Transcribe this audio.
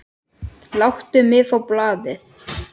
Láttu mig fá blaðið!